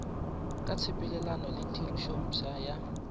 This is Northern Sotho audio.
ka tshepelelano le tirišanompsha ya